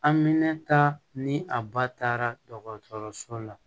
Amminta ni a ba taara dɔgɔtɔrɔso la